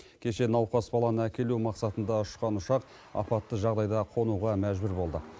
кеше науқас баланы әкелу мақсатында ұшқан ұшақ апатты жағдайда қонуға мәжбүр болды